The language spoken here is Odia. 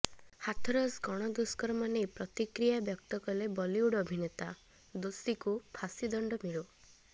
ହାଥରସ ଗଣଦୁଷ୍କର୍ମ ନେଇ ପ୍ରତିକ୍ରିୟା ବ୍ୟକ୍ତ କଲେ ବଲିଉଡ ଅଭିନେତା ଦୋଷୀକୁ ଫାଶୀ ଦଣ୍ଡ ମିଳୁ